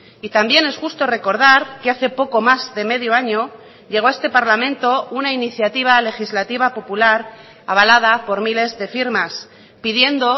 y también es justo recordar que hace poco más de medio año llegó a este parlamento una iniciativa legislativa popular avalada por miles de firmas pidiendo